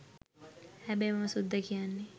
හැබැයි මම සුද්ද කියන්නේ